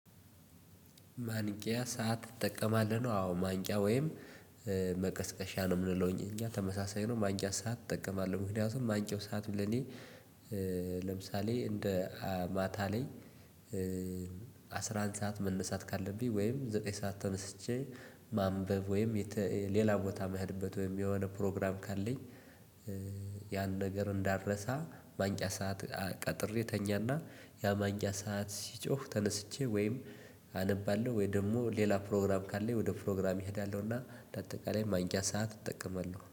ማንቂያ ሰዓት እጠቀማለሁ ነው። አዎ ማንቂያ ወይም መቀስቀሻ ነው የምንለው እኛ ተመሳሳይ ነው። ማንቂያ ሰዓት እጠቀማለሁ ምክንያቱም ማንቂያው ሰዓቱ ለኔ። ለምሳሌ እንደ ማታ ላይ አስራ አንድ ሰዓት መነሳት ካለብኝ ወይም ዘጠኝ ሰዓት ተነስቼ ማንበብ ወይም ሌላ ቦታ መሄድበት ወይም የሆነ ፕሮግራም ካለኝ። ያን ነገር እንዳረሳ ማንቂያ ሰዓት ቀጥሬ እተኛና ያ ማንቂያ ሰዓት ሲጮህ ተነስቼ ወይም አነባለሁ ወይ ደግሞ ሌላ ፕሮግራም ካለኝ ወደ ፕሮግራም እሄዳለሁ። እና ለአጠቃላይ ማንቂያ ሰዓት እጠቀማለሁ